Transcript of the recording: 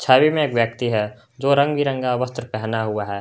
Side में एक व्यक्ति है जो रंग बिरंगा वस्त्र पहना हुआ है।